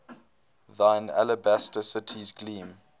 thine alabaster cities gleam